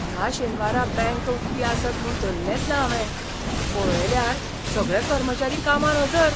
ह्या शेनवारा बँक उक्ती आसत म्हूण धल्लेंच ना हावें, पळयल्यार सगळे कर्मचारी कामार हजर!